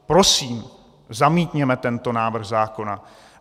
Prosím, zamítněme tento návrh zákona.